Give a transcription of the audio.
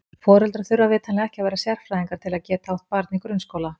Foreldrar þurfa vitanlega ekki að vera sérfræðingar til þess að geta átt barn í grunnskóla.